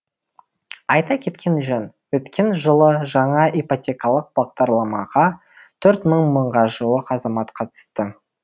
айта кеткен жөн өткен жылы жаңа ипотекалық бағдарламаға төрт мыңға жуық азамат қатысты